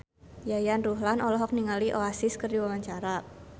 Yayan Ruhlan olohok ningali Oasis keur diwawancara